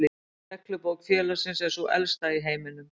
Reglubók félagsins er sú elsta í heiminum.